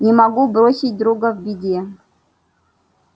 не могу бросить друга в беде